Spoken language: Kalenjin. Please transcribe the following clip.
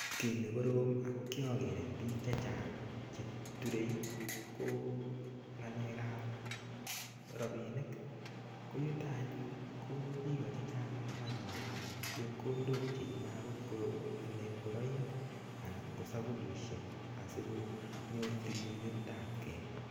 Kii nee koroom ako kiaker eng piik chechang chee ture ko ngalek ab rapinik koyutak anyony koo piik chechang amuu manyoru chepkondok cheyeme akot ko alee ingoroik anan ko sapunishek asikonyor tililindap kee